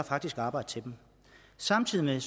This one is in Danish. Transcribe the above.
faktisk er arbejde til dem samtidig